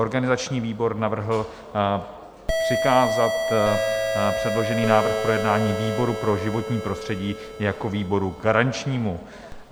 Organizační výbor navrhl přikázat předložený návrh k projednání výboru pro životní prostředí jako výboru garančnímu.